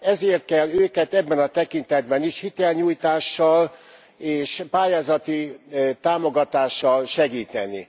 Ezért kell őket ebben a tekintetben is hitelnyújtással és pályázati támogatással segíteni.